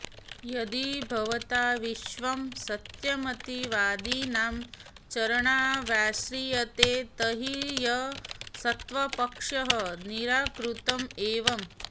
यदि भवता विश्वं सत्यमिति वादिनां चरणावाश्रियेते तर्हि असत्त्वपक्षः निराकृत एव